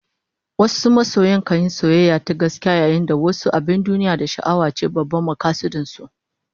Wasu masoya kan yi soyayya ta gaskiya, yayin da wasu abin duniya da sha'awa ce babban makasudin su